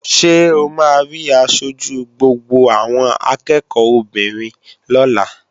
Ṣé o máa rí aṣojú gbogbo àwọn akẹ́ẹ̀kọ́ obìnrin lọ́la?